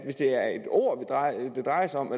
ord det drejer sig om